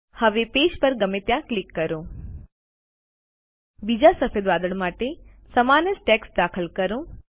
હવે પેજ પર ગમે ત્યાં ક્લિક કરો બીજા સફેદ વાદળ માટે સમાન જ ટેક્સ્ટ દાખલ કરો